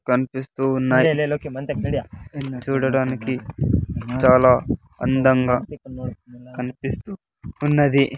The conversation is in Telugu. కనిపిస్తూ ఉన్నాయి చూడడానికి చాలా అందంగా కనిపిస్తూ ఉన్నది.